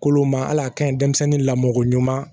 Kolo ma hali a ka ɲi denmisɛnnin lamɔko ɲuman